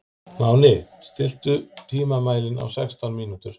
Máni, stilltu tímamælinn á sextán mínútur.